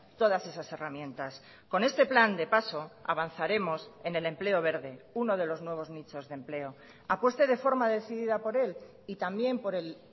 todas esas herramientas con este plan de paso avanzaremos en el empleo verde uno de los nuevos nichos de empleo apueste de forma decidida por él y también por el